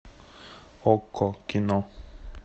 окко кино